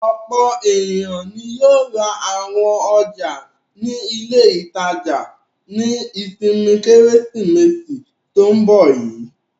Ọ̀pọ̀ ènìyàn ni yóò ra àwọn ọjà ní ilé-ìtajà ní ìsinmi Kérésìmesì tó ń bọ̀ yìí.